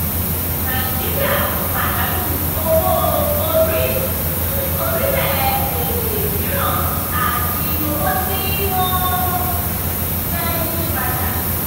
nàìjíríà ń pàdánù owó-orí fún orílẹ̀-èdè mìíràn àti owó tí wọ́n fẹ́ yí padà.